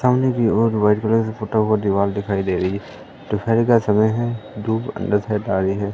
सामने की ओर व्हाइट कलर का टूटा हुआ दीवाल दिखाई दे रही है दोपहर का समय है धूप अन्दर साइड आ रही है।